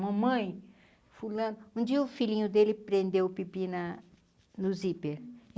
Mamãe, fulano, um dia o filhinho dele prendeu o pipi na no zíper.